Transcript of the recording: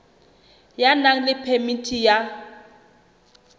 ya nang le phemiti ya